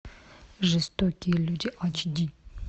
жестокие люди айч ди